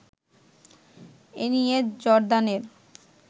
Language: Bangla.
এনিয়ে জর্দানের